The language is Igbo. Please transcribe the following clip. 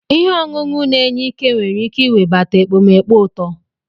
Ihe ọṅụṅụ na-enye ike nwere ike iwebata ekpomeekpo uto.